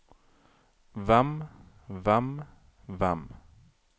hvem hvem hvem